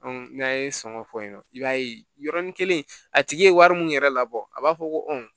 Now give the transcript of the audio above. n'a ye sɔngɔ fɔ yen nɔ i b'a ye yɔrɔnin kelen a tigi ye wari min yɛrɛ labɔ a b'a fɔ ko